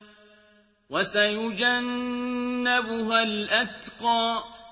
وَسَيُجَنَّبُهَا الْأَتْقَى